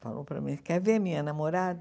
Falou para mim, quer ver a minha namorada?